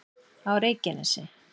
á reykjanesi